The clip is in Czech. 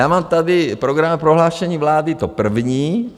Já mám tady programové prohlášení vlády, to první.